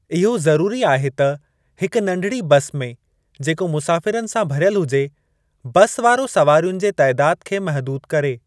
इहो ज़रूरी आहे त हिक नंढिड़ी बस में जेको मुसाफ़िरनि सां भरियल हुजे, बस वारो सवारियुनि जे तइदाद खे महिदूदु करे।